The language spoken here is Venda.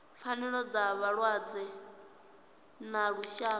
pfanelo dza vhalwadze ḽa lushaka